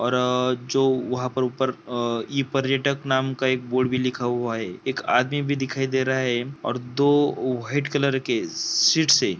और जो वहाॅं पर ऊपर अ इ-पर्यटक नाम का एक बोर्ड भी लिखा हुआ है एक आदमी भी दिखाई दे रहा है और दो व्हाइट कलर के सीट्स है।